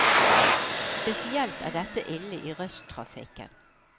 Spesielt er dette ille i rushtrafikken.